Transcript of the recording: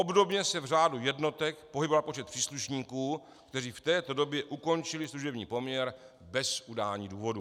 Obdobně se v řádu jednotek pohyboval počet příslušníků, kteří v této době ukončili služební poměr bez udání důvodů.